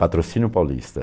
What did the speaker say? Patrocínio Paulista.